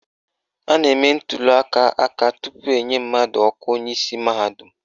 A na-eme ntuliaka aka tupu enye mmadụ ọkwa onyeisi mahadum.